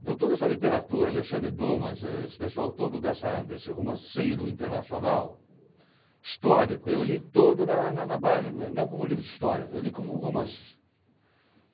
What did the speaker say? Então, toda essa literatura, Alexandre Dumas, esse pessoal todo dessa desse romanceiro internacional, histórico, eu li todo na na na base, não como livros de história, eu li como romances.